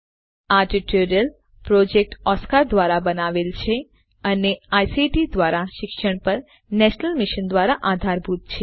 આ tutorial project Oscar ધ્વારા બનાવવામાં આવ્યો છે અને આઇસીટી એમએચઆરડી ભારત સરકાર દ્વારા શિક્ષણ પર નેશનલ મિશન દ્વારા આધારભૂત છે